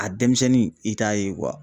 A denmisɛnnin i t'a ye